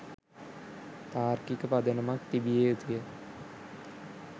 තාර්කික පදනමක් තිබිය යුතුය.